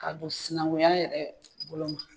Ka don sinanguya yɛrɛ bolo ma